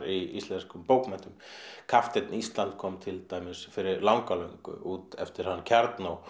í íslenskum bókmenntum kapteinn Ísland kom til dæmis fyrir langa löngu út eftir hann